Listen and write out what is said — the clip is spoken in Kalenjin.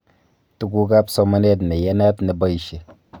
Tugukab somanet neyatat neboishe